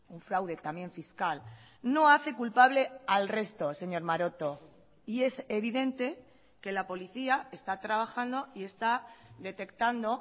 un fraude también fiscal no hace culpable al resto señor maroto y es evidente que la policía está trabajando y está detectando